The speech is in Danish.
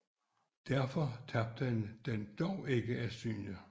Derfor tabte han den dog ikke af syne